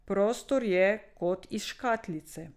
Prostor je kot iz škatlice.